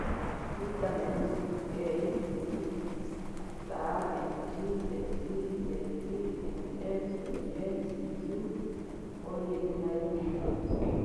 Vitamini C, K, P, ca, mg, se, fe, mn, zn, cu, foliate, na ingĩ nyingĩ.